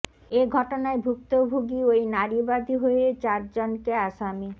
এ ঘটনায় ভুক্তভোগী ওই নারী বাদী হয়ে চারজনকে আসামি